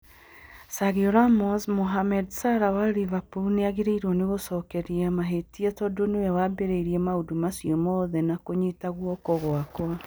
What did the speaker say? Sergio Ramos: Mohamed Salah wa Liverpool nĩ agĩrĩirwo nĩ kwĩgũcokeria mahĩtia tondũ nĩwe wambĩrĩirie maũndũ macio mothe na kũnyiita guoko gwakwa